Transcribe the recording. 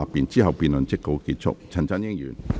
之後辯論即告結束。